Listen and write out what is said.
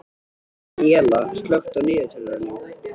Daníella, slökktu á niðurteljaranum.